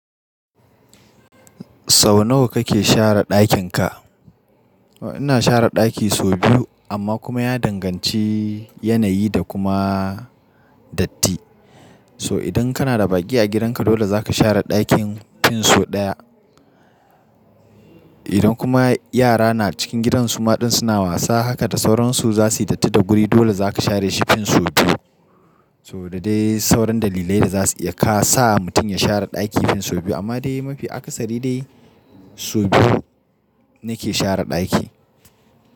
Sau nawa kake share ɗakin ka? Ina share ɗaki sau biyu amma kuma ya danganci yanayi da kuma datti. To idan kana da baki a gidanka dole za ka share ɗakin fin so ɗaya. Idan kuma yara na cikin gidan su maɗin suna wasa haka da sauransu za su yi datti da guri, dole za ka share shi fin so biyu. So da dai sauran dalilai da za su iya ka sa mutum ya share ɗaki fin so biyu amma dai mafi akasari dai so biyu nake share ɗaki.